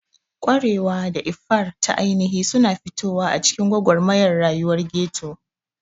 Ƙwarewa da iffar ta ainihi suna fitowa a cikin gwagwarmayar rayuwar ghetto.